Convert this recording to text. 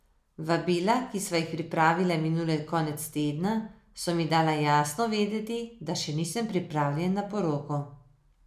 Vabila, ki sva jih pripravila minuli konec tedna, so mi dala jasno vedeti, da še nisem pripravljen na poroko.